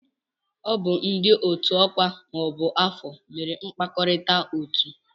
Ọ bụ ndị otu ọkwa ma ọ bụ afọ mere mkpakọrịta otuu.